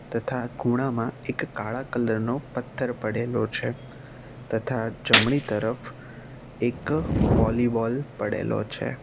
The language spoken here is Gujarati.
તથા ખૂણામાં એક કાળા કલર નો પથ્થર પડેલો છે તથા જમણી તરફ એક વોલીબોલ પડેલો છે.